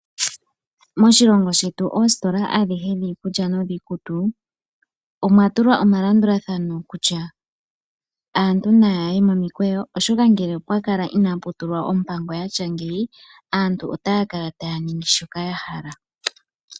Moshilongo shetu Oositola adhihe dhiikulya nodhiikutu omwa tulwa omalandulathano kutya aantu na ya ye nomikweyo, oshoka ngele opwa kala inaa pu tulwa ompango ya tya ngeyi, aantu ota ya kala ta ya ningi shoka ya hala.